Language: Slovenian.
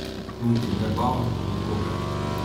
Niti ne bal, nikogar.